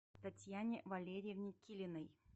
татьяне валерьевне килиной